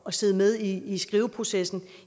at sidde med i i skriveprocessen